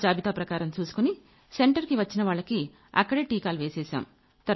ఆ జాబితా ప్రకారం చూసుకుని సెంటర్ కి వచ్చినవాళ్లకి అక్కడే టీకాలు వేసేశాం